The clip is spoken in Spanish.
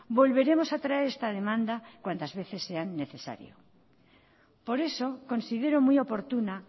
volveremos a traer esta demanda cuantas veces sea necesario por eso considero muy oportuna